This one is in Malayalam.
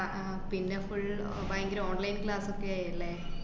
ആഹ് പിന്നെ full ഭയങ്കര online class ഒക്കെ ആയില്ലെ?